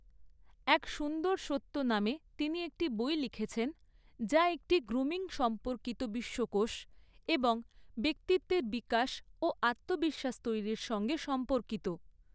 এক সুন্দর সত্য' নামে তিনি একটি বই লিখেছেন, যা একটি 'গ্রুমিং সম্পর্কিত বিশ্বকোষ এবং ব্যক্তিত্বের বিকাশ ও আত্মবিশ্বাস তৈরির সঙ্গে সম্পর্কিত।